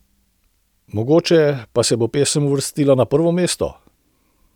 Mogoče pa se bo pesem uvrstila na prvo mesto?